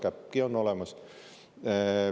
Käppki on olemas!